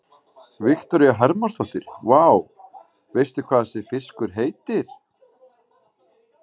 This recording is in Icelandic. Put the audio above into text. Viktoría Hermannsdóttir: Vá, veistu hvað þessi fiskur heitir?